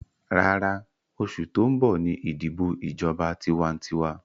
Rárá, oṣù tó ń bọ̀ ní ìdìbọ̀ ìjọba tiwantiwa